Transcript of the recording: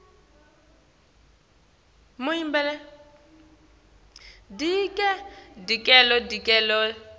tesigodzi letiniketa tinsita